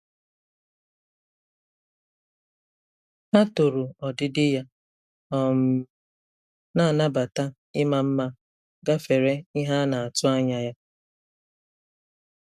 Ha toro ọdịdị ya, um na-anabata ịma mma gafere ihe a na-atụ anya ya.